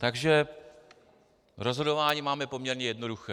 Takže rozhodování máme poměrně jednoduché.